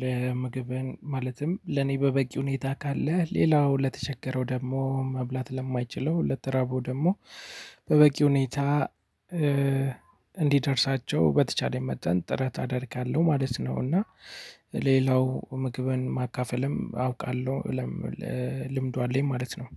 ለምግብን ማለትም ለኔ በበቂ ሁኔታ ካለ ሌላው ለተቸገረው ደግሞ መብላት ለማይችለው ለተራበው ደግሞ በበቂ ሁኔታ እ እንዲደርሳቸው በተቻለኝ መጠን ጥረት አደርጋለሁ ማለት ነው። እና ሌላው ምግብን ማካፈልም አውቃለሁ ለም እ ልምዱ አለኝ ማለት ነው